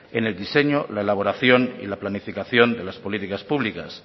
en el diseño en la elaboración y en la planificación de las políticas públicas